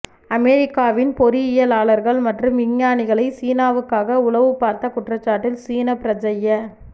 அமெரிக்காவின் பொறியியலாளர்கள் மற்றும் விஞ்ஞானிகளை சீனாவுக்காக உளவுபார்த்த குற்றச்சாட்டில் சீன பிரஜைய